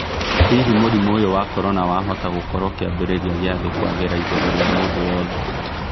Hihi mũrimo ũyũ wa corona wahota gũkorwo kiambĩrĩria gia thĩ kwagera igũrũ rĩa mũndũ wothe.